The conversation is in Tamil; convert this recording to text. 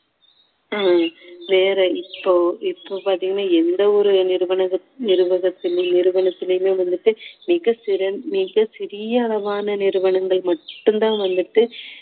ஆஹ் வேற இப்போ இப்போ பாத்தீங்கன்னா எந்த ஒரு நிறுவனகத்~ நிறுவக~ நிறுவனத்திலுமே வந்துட்டு மிக சிற~ மிக சிறிய அளவான நிறுவனங்கள் மட்டும்தான் வந்துட்டு